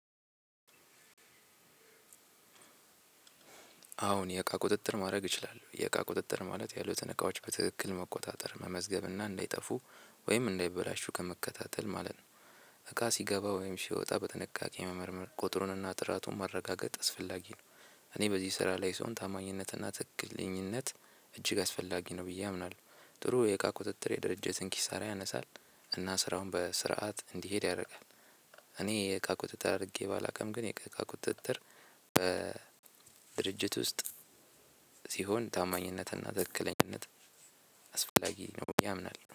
አሁን የእቃ ቁጥጥር ማድረግ እችላለሁ የእቃ ቁጥጥር ማለት ያሉትን እቃዎች በትክክል መቆጣጠር መመዝገብና እንዳይጠፉ ወይም እንዳይበላሹ ከመከታተል ማለት ነው። እቃ ሲገባ ወይም ሲወጣ በትንቃቄ መመርመር ቁጥሩንና ጥራቱን ማረጋገጥ አስፈላጊ ነው። እኔ በዚህ ስራ ላይ ስሆን ታማኝነትና ትክክልኝነት እጅግ አስፈላጊ ነው ብዬ አምናለሁ። ጥሩ የቃ ቁጥጥር የድርጅትን ኪሳራ ያነሳል። እና ስራውን በስርዓት እንዲሄድ ያደርጋል። እኔ የእቃ ቁጥጥር አድርጌ ባላውቅም ግን የእቃ እቃ ቁጥጥር በድርጅት ውስጥ። ሲሆን ታማኝነትና ትክክለኛነት አስፈላጊ ነው ብዬ አምናለው